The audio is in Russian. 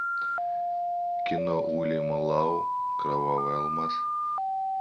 кино уильяма лау кровавый алмаз